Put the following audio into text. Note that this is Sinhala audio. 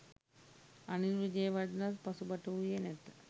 අනිල් විජේවර්ධනත් පසුබට වූයේ නැත.